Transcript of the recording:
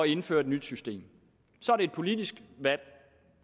indføre et nyt system så er det et politisk valg